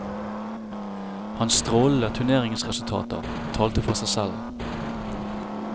Hans strålende turneringsresultater talte for seg selv.